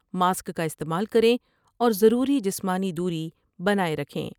Mask کا استعمال کر یں اور ضروری جسمانی دوری بناۓ رکھیں ۔